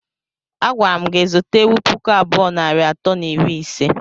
Agwara mụ gị zụta ewụ pụkụ abụọ nari atọ na iri ise!!!!!